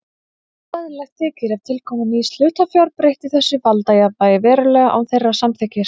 Óeðlilegt þykir ef tilkoma nýs hlutafjár breytti þessu valdajafnvægi verulega án þeirra samþykkis.